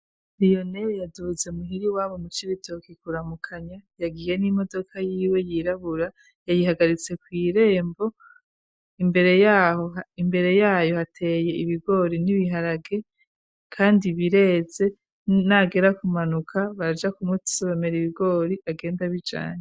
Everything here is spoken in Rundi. liyoneri yaduhutse muhiri wabo mu cibitoki kuramukanya yagiye n'imodoka y'iwe yirabura yayihagaritse kwirembo. Imbere yayo hateye ibigori n'ibiharage kandi bireze nagera kumanuka baja kumutse bamera ibigori agenda bijanye.